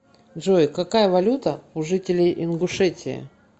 джой какая валюта у жителей ингушетии